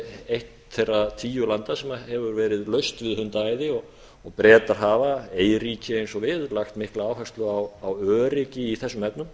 eitt meira tíu landa sem hefur verið laust við hundaæði og bretar hafa eyríki eins og við lagt mikla áherslu á öryggi í þessum efnum